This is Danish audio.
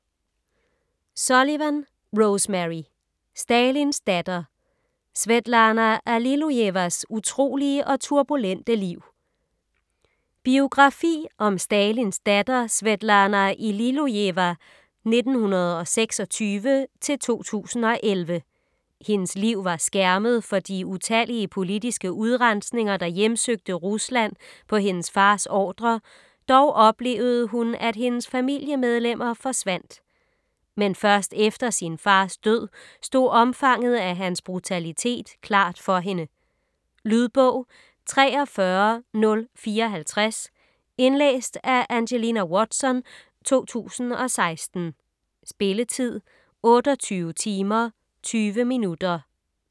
Sullivan, Rosemary: Stalins datter: Svetlana Allilujevas utrolige og turbulente liv Biografi om Stalins datter Svetlana Allilujeva (1926-2011). Hendes liv var skærmet for de utallige politiske udrensninger, der hjemsøgte Rusland på hendes fars ordre, dog oplevede hun at hendes familiemedlemmer forsvandt. Men først efter sin fars død stod omfanget af hans brutalitet klart for hende. Lydbog 43054 Indlæst af Angelina Watson, 2016. Spilletid: 28 timer, 20 minutter.